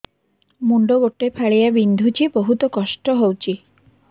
ମୁଣ୍ଡ ଗୋଟେ ଫାଳିଆ ବିନ୍ଧୁଚି ବହୁତ କଷ୍ଟ ହଉଚି